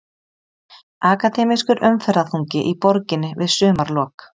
Akademískur umferðarþungi í borginni við sumarlok